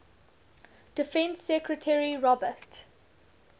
defense secretary robert